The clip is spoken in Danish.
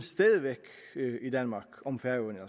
om færøerne